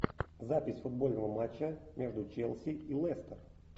запись футбольного матча между челси и лестер